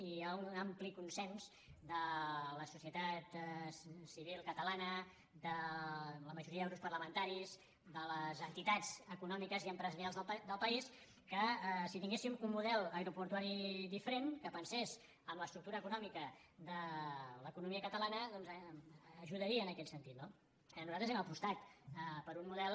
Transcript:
i hi ha un ampli consens de la societat civil catalana de la majoria de grups parlamentaris de les entitats econòmiques i empresarials del país que si tinguéssim un model aeroportuari diferent que pensés en l’estructura econòmica de l’economia catalana ajudaria en aquest sentit no nosaltres hem apostat per un model